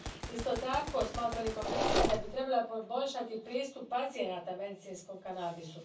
Isto tako, smatra li Komisija da bi trebala poboljšati pristup pacijenata medicinskom kanabisu?